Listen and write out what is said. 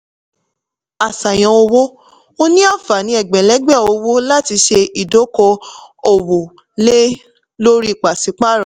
àṣàyàn owó: o ní àǹfààní egbẹ̀lẹ́gbẹ̀ owó láti ṣe ìdóko-òwò lé lórí pasipaaro.